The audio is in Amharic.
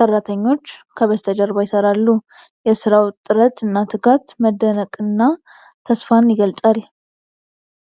ሠራተኞች ከበስተጀርባ ይሠራሉ። የሥራው ጥረት እና ትጋት መደነቅንና ተስፋን ይገልጻል።